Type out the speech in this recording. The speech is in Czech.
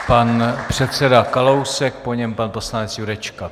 Pan předseda Kalousek, po něm pan poslanec Jurečka.